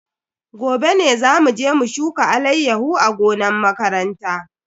Gobe ne zamu je mu shuka alayyahu a gonan makaranta.